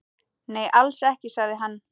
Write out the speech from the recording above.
Nei, alls ekki, sagði hann.